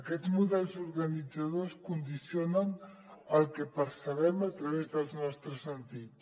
aquests models organitzadors condicionen el que percebem a través dels nostres sentits